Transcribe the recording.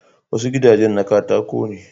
Wasu gidajen na katako ne